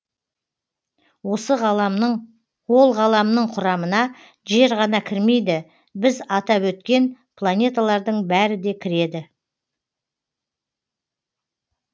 ол ғаламның құрамына жер ғана кірмейді біз атап өткен планеталардың бәрі де кіреді